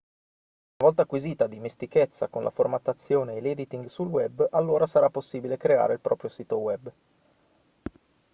una volta acquisita dimestichezza con la formattazione e l'editing sul web allora sarà possibile creare il proprio sito web